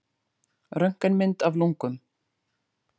Röntgenmynd af lungum.